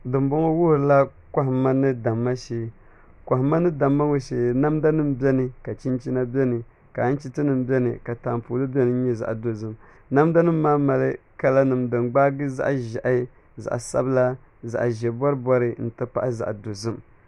Dunbɔŋɔ wuhurila kohamma ni damma shee kohamma ni damma ŋɔ shee namda nim biɛni ka chinchina biɛni ka anchiti nim biɛni taapooli biɛni nyɛ zaɣ dozim namda nim maa mali kala nim din gbaagi zaɣ ʒiɛhi zaɣ sabila zaɣ ʒiɛ bori bori n ti pahi zaɣ dozim